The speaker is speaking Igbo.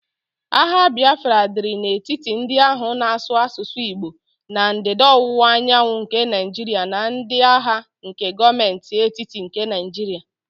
Agha Bịafra dịrị n'etiti ndị ahụ na-asụ asụsụ Igbo na Ndịda-Ọwụwa Anyanwụ nke Naịjiria na ndi agha nke Gọọmentị etiti nke Naịjiria